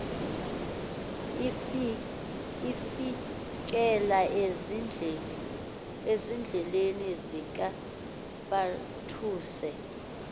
ifikela ezandleni zikafatuse